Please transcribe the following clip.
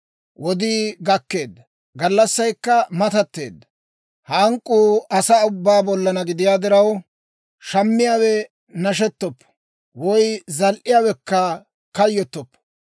Wodii gakkeedda; gallassaykka matatteedda! Hank'k'uu asaa ubbaa bollaanna gidiyaa diraw, shammiyaawe nashettoppo; woy zal"iyaawekka kayyottoppo.